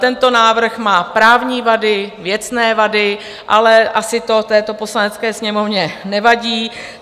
Tento návrh má právní vady, věcné vady, ale asi to této Poslanecké sněmovně nevadí.